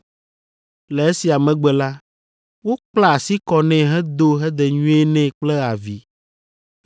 Le esia megbe la, wokpla asi kɔ nɛ hedo hedenyuie nɛ kple avi,